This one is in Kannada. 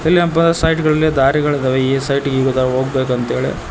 ಇಲ್ಲೇ ಒಬ್ಬ ಸೈಟ್ಗಳಿಲ್ಲಿ ದಾರಿಗಳಿದಾವೆ ಈ ಸೈಟ್ಗೆ ಹೋಗ್ಬೇಕು ಅಂತ್ ಹೇಳಿ.